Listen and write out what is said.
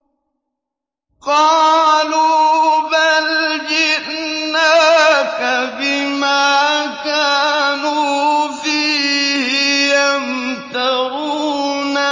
قَالُوا بَلْ جِئْنَاكَ بِمَا كَانُوا فِيهِ يَمْتَرُونَ